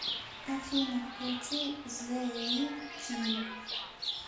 афина включи зэ ви тим